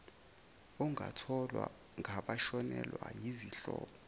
ongatholwa ngabashonelwa yizihlobo